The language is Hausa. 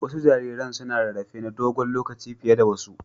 Wasu jariran suna rarrafe na dogon lokaci fiye da wasu.